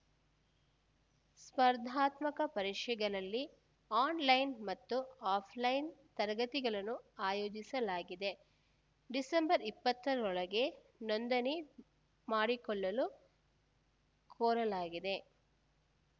ಸ್ಪರ್ಧಾತ್ಮಕ ಪರೀಕ್ಷೆಗಳಲ್ಲಿ ಆನ್‌ಲೈನ್‌ ಮತ್ತು ಆಫ್‌ಲೈನ್‌ ತರಗತಿಗಳನ್ನು ಆಯೋಸಲಾಗಿದೆ ಡಿಸೆಂಬರ್ ಇಪ್ಪತ್ತರೊಳಗೆ ನೋಂದಣಿ ಮಾಡಿಕೊಳ್ಳಲು ಕೋರಲಾಗಿದೆ